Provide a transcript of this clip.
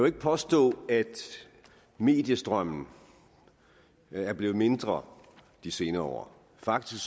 ikke påstå at mediestrømmen er blevet mindre de senere år faktisk